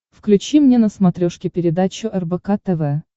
включи мне на смотрешке передачу рбк тв